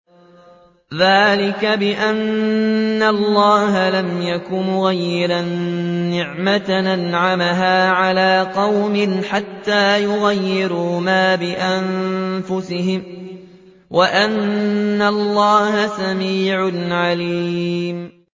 ذَٰلِكَ بِأَنَّ اللَّهَ لَمْ يَكُ مُغَيِّرًا نِّعْمَةً أَنْعَمَهَا عَلَىٰ قَوْمٍ حَتَّىٰ يُغَيِّرُوا مَا بِأَنفُسِهِمْ ۙ وَأَنَّ اللَّهَ سَمِيعٌ عَلِيمٌ